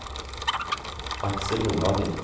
Aksel Nordhagen